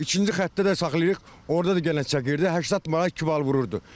İkinci xəttə də saxlayırıq, orda da cərimə çəkirdi, 80 manat iki bal vururdu.